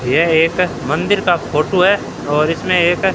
यह एक मंदिर का फोटो है और इसमें एक--